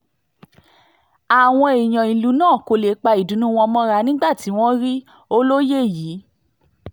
àwọn èèyàn ìlú náà kò lè pa ìdùnnú wọn mọ́ra nígbà tí wọ́n rí olóye yìí